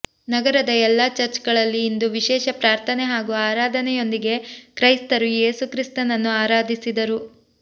ನಗರದ ಎಲ್ಲಾ ಚರ್ಚ್ಗಳಲ್ಲಿ ಇಂದು ವಿಶೇಷ ಪ್ರಾರ್ಥನೆ ಹಾಗೂ ಆರಾಧನೆ ಯೊಂದಿಗೆ ಕ್ರೈಸ್ತರು ಯೇಸು ಕ್ರಿಸ್ತನನ್ನು ಆರಾಧಿಸಿದರು